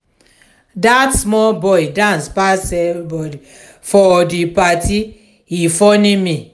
dat small boy dance pass everybodi for di party e funny me.